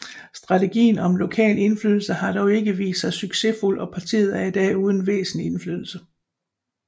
Strategien om lokal indflydelse har dog ikke vist sig succesfuld og partiet er i dag uden væsentlig indflydelse